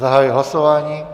Zahajuji hlasování.